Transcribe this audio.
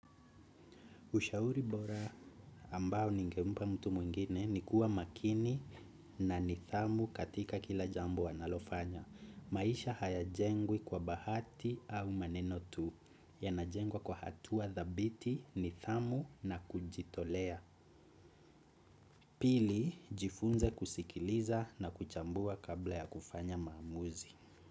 Ushauri bora ambao ningempa mtu mwingine ni kuwa makini na nithamu katika kila jambo wanalofanya. Maisha hayajengwi kwa bahati au maneno tu yanajengwa kwa hatua dhabiti nithamu na kujitolea. Pili, jifunze kusikiliza na kuchambua kabla ya kufanya maamuzi.